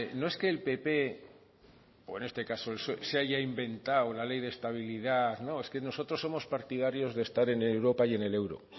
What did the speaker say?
no es que el pp o en este caso el psoe se haya inventado la ley de estabilidad no es que nosotros somos partidarios de estar en europa y en el euro